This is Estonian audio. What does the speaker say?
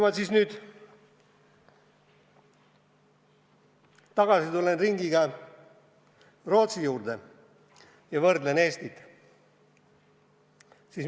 Ma tulen nüüd ringiga tagasi Rootsi juurde ja võrdlen Eestit Rootsiga.